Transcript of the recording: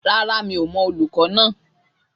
Rárá, mi ò mọ olùkọ́ náà